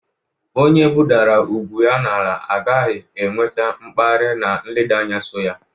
Onye budara ugwu ya n'ala aghaghi inweta mkpari na nleda anya so ya.